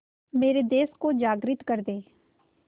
मेरे देश को जागृत कर दें